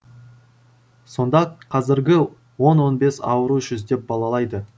сонда қазіргі он он бес ауру жүздеп балалайды